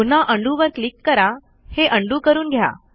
पुन्हा undoवर क्लिक करून हे उंडो करून घ्या